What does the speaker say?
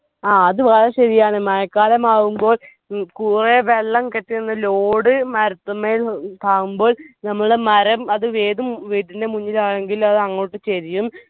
ആ അത് വളരെ ശെരിയാണ് മഴക്കാലം ആവുമ്പോൾ ഉം കുറെ വെള്ളം കെട്ടിനിന്ന് load മാര്തമ്മേൽ ആവുമ്പോൾ നമ്മളെ മരം അത് ഏത് വീട്ടിന്റെ മുന്നിൽ ആണെങ്കിൽ അത് അങ്ങോട്ട് ചെരിയും